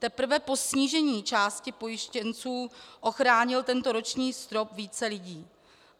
Teprve po snížení části pojištěnců ochránil tento roční strop více lidí.